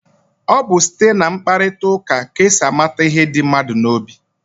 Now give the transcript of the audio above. Ọ bụ site na mkparịkọtaụka ka e si amata ihe dị mmadụ n'obi.